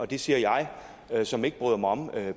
det siger jeg som ikke bryder mig om